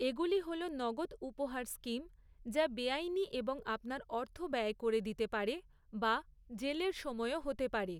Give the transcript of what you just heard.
এগুলি হল নগদ উপহার স্কিম, যা বেআইনি, এবং আপনার অর্থ ব্যয় করে দিতে পারে বা জেলের সময়ও হতে পারে৷